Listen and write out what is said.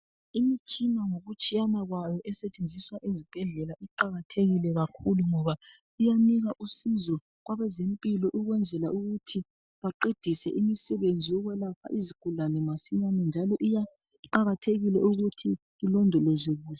Imtshina ngokutshiyana kwayo, esetshenziswa ezibhedlela iqakathekile kakhulu ngoba iyanika usizo kwabezempilo. Ukwenzela ukuthi baqedise imisebenzi yokwelapha izigulane masinyane. Njalo iya kuqakathekile ukuthi ilondolozwe kuhle.